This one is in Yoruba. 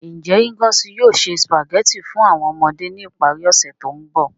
Nje Ngozi yoo se Spaghetti fun awọn ọmọde ni ipari ose to nbọ?